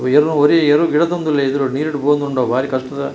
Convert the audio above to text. ಏರುನ್ ಒರಿ ಎರು ಗಿಡತೊಂದುಲ್ಲೆ ಎದುರುಡು ನೀರುಡು ಪೋವೊಂದುಂಡು ಅವ್ ಬಾರಿ ಕಷ್ಟದ --